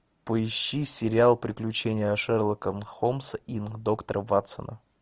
поищи сериал приключения шерлока холмса и доктора ватсона